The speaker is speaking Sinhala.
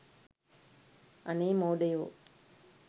අනේ මෝඩයෝ